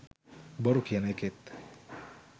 බොරු කියන එකෙත්